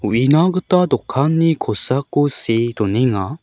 uina gita dokanni kosako see donenga.